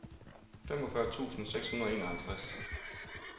femogfyrre tusind seks hundrede og enoghalvtreds